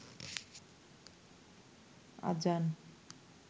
আজান